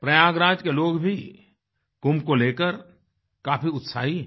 प्रयागराज के लोग भी कुंभ को लेकर काफी उत्साही हैं